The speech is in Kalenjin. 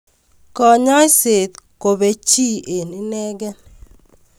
Kanyoiset kobee chi eng inekei